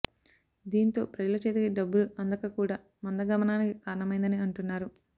దీంతో ప్రజల చేతికి డబ్బులు అందక కూడా మందగమనానికి కారణమైందని అంటున్నారు